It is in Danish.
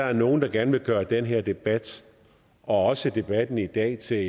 er nogle der gerne vil gøre den her debat og også debatten i dag til